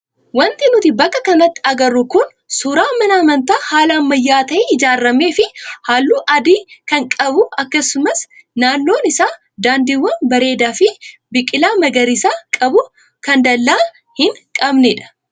Wanti nuti bakka kanatti agarru kun suuraa mana amantaa haala ammayyaa ta'ee ijaaramee fi halluu adii kan qabu akkasumas naannoon isaa daandiiwwan bareedaa fi biqilaa magariisa qabu kan dallaa hin qabnedha.